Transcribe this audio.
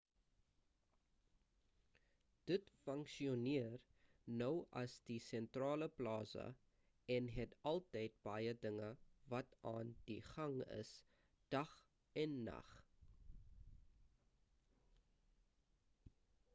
dit funksioneer nou as die sentrale plaza en het altyd baie dinge wat aan die gang is dag en nag